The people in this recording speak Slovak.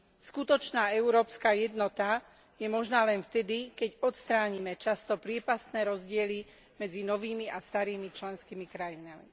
Skutočná európska jednota je možná len vtedy, keď odstránime často priepastné rozdiely medzi novými a starými členskými krajinami.